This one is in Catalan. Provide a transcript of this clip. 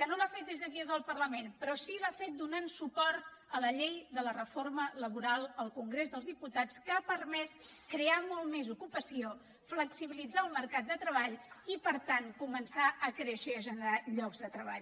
que no l’ha fet des d’aquí al parlament però sí l’ha fet donant suport a la llei de la reforma laboral al congrés dels diputats que ha permès crear molta més ocupació flexibilitzar el mercat de treball i per tant començar a créixer i a generar llocs de treball